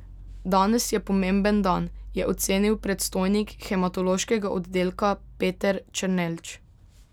Danes je pomemben dan, je ocenil predstojnik hematološkega oddelka Peter Černelč.